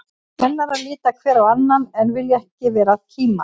Kennarar líta hver á annan, en vilja ekki vera að kíma.